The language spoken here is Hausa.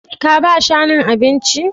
Ka ba shanun abinci?